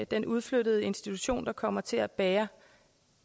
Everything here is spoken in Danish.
den udflyttede institution der kommer til at bære